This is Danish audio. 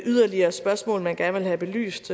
yderligere spørgsmål man gerne vil have belyst